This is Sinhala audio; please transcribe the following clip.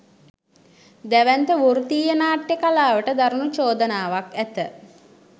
දැවැන්ත වෘත්තීය නාට්‍ය කලාවට දරුණු චෝදනාවක් ඇත